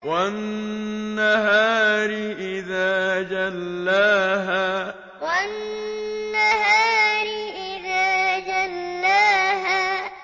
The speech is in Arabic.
وَالنَّهَارِ إِذَا جَلَّاهَا وَالنَّهَارِ إِذَا جَلَّاهَا